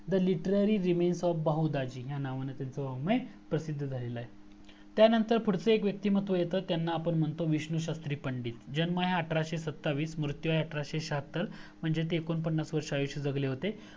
the literary remains to bahudaji ह्या नावाने त्यांचा वगमय प्रसिद्ध झालेलं आहे त्या नंतर पुढच एक व्यक्ति मत्व येतं त्यांना आपण म्हणतो विष्णु शास्त्री पंडित जन्म आहे अठराशे सत्तावीस मृतू आहे अठराशे श्याहत्तर म्हणजे ते एक्कोंपन्नास आयुष्य जगले होते